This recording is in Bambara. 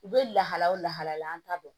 U bɛ lahala o lahala ta dɔn